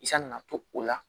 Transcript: I sanni na to o la